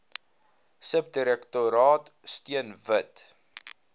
subdirektoraat steun wit